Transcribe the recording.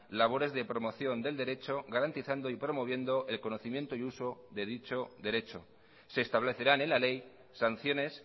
labores de promoción del derecho garantizando y promoviendo el conocimiento y uso de dicho derecho se establecerán en la ley sanciones